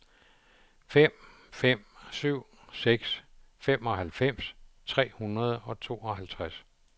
fem fem syv seks femoghalvfems tre hundrede og tooghalvtreds